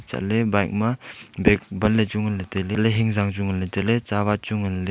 chatley bike ma bag banley chu nganley tailey elah e hingzang chu nganley tailey tsawat chu nganley.